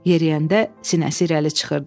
Yeriyəndə sinəsi irəli çıxırdı.